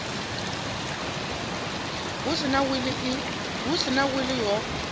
hu si na wili ho